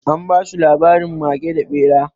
An ba su labarin mage da ɓera.